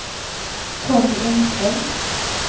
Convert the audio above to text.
Conny Engström